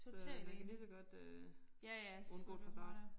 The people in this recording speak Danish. Så man kan ligeså godt øh undgå det fra start